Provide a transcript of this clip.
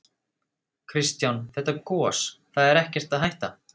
Kristján: Þetta gos, það er ekkert að hætta?